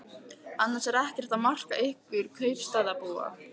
Annars er ekkert að marka ykkur kaupstaðarbúa.